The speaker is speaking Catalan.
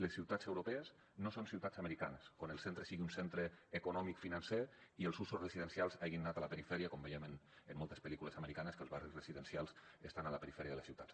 les ciutats europees no són ciutats americanes on el centre sigui un centre economicofinancer i els usos residencials se n’hagin anat a la perifèria com veiem en moltes pel·lícules americanes que els barris residencials estan a la perifèria de les ciutats